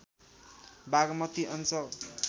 बागमती अञ्चल